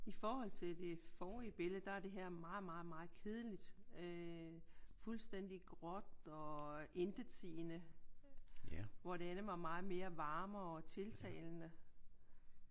I forhold til det forrige billede der er det her meget meget meget kedeligt. Øh fuldstændigt gråt og intetsigende hvor det andet var meget mere varmere og tiltalende